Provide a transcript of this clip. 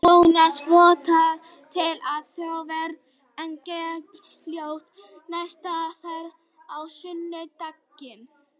Jónas vonast til að Þorsteinn verði með gegn Fjölni í næstu umferð á sunnudaginn.